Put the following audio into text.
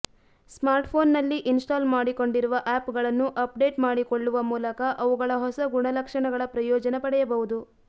ಸ್ಮಾರ್ಟ್ಫೋನ್ನಲ್ಲಿ install ಮಾಡಿಕೊಂಡಿರುವ ಆ್ಯಪ್ಗಳನ್ನು update ಮಾಡಿಕೊಳ್ಳುವ ಮೂಲಕ ಅವುಗಳ ಹೊಸ ಗುಣಲಕ್ಷಣಗಳ ಪ್ರಯೋಜನ ಪಡೆಯಬಹುದು